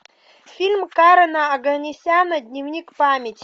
фильм карена оганесяна дневник памяти